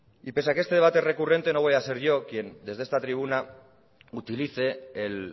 y pese a que este debate es recurrente no voy a ser yo quien desde esta tribuna utilice el